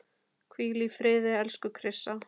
Hvíl í friði, elsku Krissa.